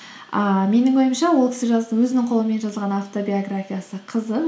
ааа менің ойымша ол кісі өзінің қолымен жазылған автобиографиясы қызық